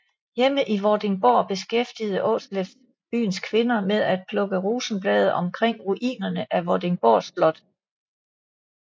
Hjemme i Vordingborg beskæftigede Aarsleff byens kvinder med at plukke rosenblade omkring ruinerne af Vordingborg Slot